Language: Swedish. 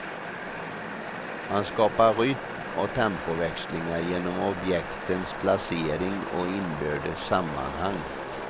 Han skapar rytm och tempoväxlingar genom objektens placering och inbördes sammanhang.